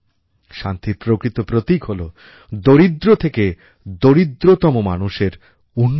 শান্তির প্রকৃত প্রতীক হলো দরিদ্র থেকে দরিদ্রতম মানুষের উন্নতি